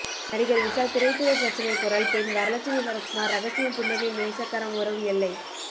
நடிகர் விஷால் திரைத்துறை பிரச்சினை குரல் பெண் வரலட்சுமி சரத்குமார் ரகசியம் புன்னகை நேசக்கரம் உறவு எல்லை